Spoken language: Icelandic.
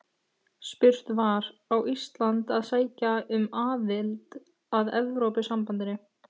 Spurt var: Á Ísland að sækja um aðild að Evrópusambandinu?